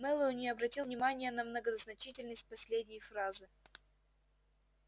мэллоу не обратил внимания на многозначительность последней фразы